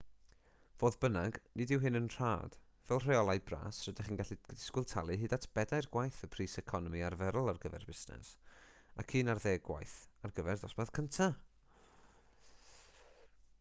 fodd bynnag nid yw hyn yn rhad fel rheolau bras rydych chi'n gallu disgwyl talu hyd at bedair gwaith y pris economi arferol ar gyfer busnes ac un ar ddeg gwaith ar gyfer dosbarth cyntaf